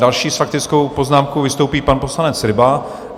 Další s faktickou poznámkou vystoupí pan poslanec Ryba.